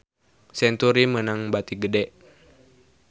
Century meunang bati gede